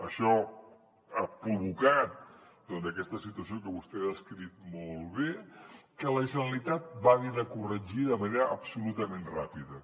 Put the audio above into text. això ha provocat doncs aquesta situació que vostè ha descrit molt bé que la generalitat va haver de corregir de manera absolutament ràpida